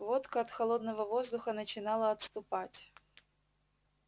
водка от холодного воздуха начинала отступать